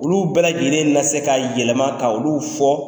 Olu bɛɛ lajɛlen na se ka yɛlɛma ka olu fɔ.